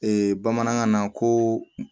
bamanankan na ko